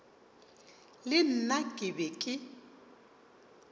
le nna ke be ke